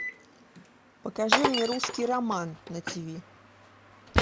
покажи мне русский роман на тв